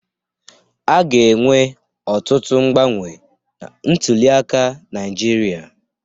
A ga-enwe ọtụtụ mgbanwe na ntuliaka Naịjirịa.